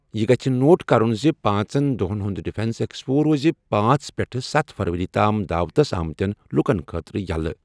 یہِ گژھِ نوٹ کرُن زِ پانٛژن دۄہَن ہُنٛد ڈیفنس ایکسپو روزِ پانژھ پٮ۪ٹھ سَتھ فروری تام دعوتس آمتیٚن لوٗکَن خٲطرٕ یَلہٕ۔